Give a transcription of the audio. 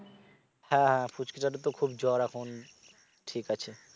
হ্যাঁ হ্যাঁ পুঁচকিটার তো খুব জ্বর এখন ঠিক আছে